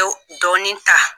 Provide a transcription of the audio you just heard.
Dɔw dɔɔnin ta